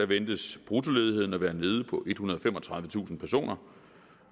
ventes bruttoledigheden at være nede på ethundrede og femogtredivetusind personer